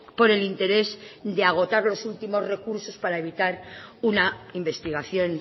por el interés de agotar los últimos recursos para evitar una investigación